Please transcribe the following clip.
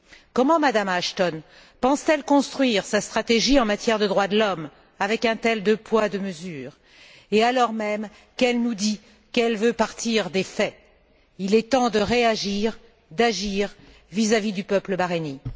Comment Mme Ashton pense t elle construire sa stratégie en matière de droits de l'homme en appliquant deux poids et deux mesures, et alors même qu'elle nous dit qu'elle veut partir des faits? Il est temps de réagir, d'agir vis à vis du peuple bahreïnien.